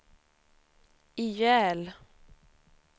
ihjäl